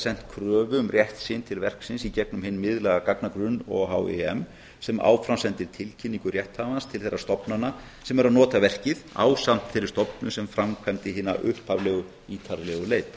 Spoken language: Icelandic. sent kröfu um rétt sinn til verksins í gegnum hinn miðlæga gagnagrunn ohim sem áfram sendir tilkynningu rétthafans til þeirra stofnana sem eru að nota verkið ásamt þeirri stofnun sem framkvæmdi hina upphaflegu ítarlegu leit